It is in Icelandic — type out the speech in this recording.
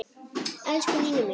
Elsku Nína mín.